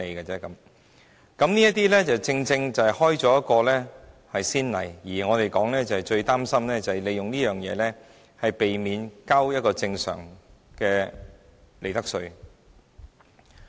這正正開了一個先例，而我們最擔心的就是有公司利用這種方法，避免繳交正常的利得稅。